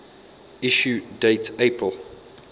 issue date april